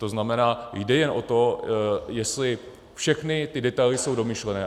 To znamená, jde jen o to, jestli všechny ty detaily jsou domyšlené.